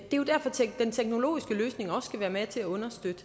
den teknologiske løsning skal være med til at understøtte